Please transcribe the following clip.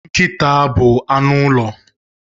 Nkịta bụ anụ ụlọ.